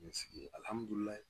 Nin sen in alihamudulila